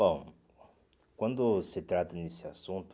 Bom, quando se trata desse assunto,